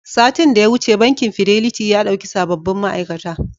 Satin da ya wuce, bankin Fidelity ya ɗauki sababbin ma'aikata.